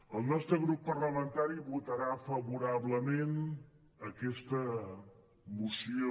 el nostre grup parlamentari votarà favorablement a aquesta moció